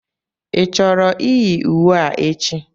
Ị chọrọ iyi uwe a echi?